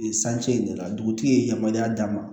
Sance in de la dugutigi ye yamaruya d'a ma